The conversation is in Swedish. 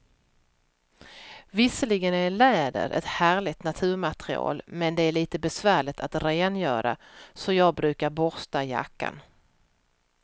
Visserligen är läder ett härligt naturmaterial, men det är lite besvärligt att rengöra, så jag brukar borsta jackan.